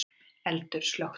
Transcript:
Eldur slökktur